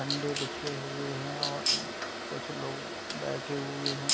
अंडे बिछे हुए हैं और कुछ लोग बैठे हुए हैं।